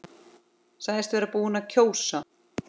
Sagðist vera búinn að kjósa.